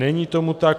Není tomu tak.